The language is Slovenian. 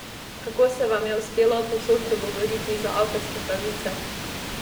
Kako se vam je uspelo povsod dogovoriti za avtorske pravice?